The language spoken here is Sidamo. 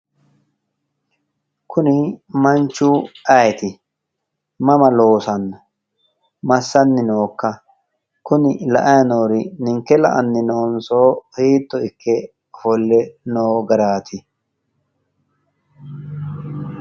Kuni manchu ayiti mama loosanno massanni nookka kuni la''ayi noori ninke la''anni noonso hiitto ikke ofolle noo garaati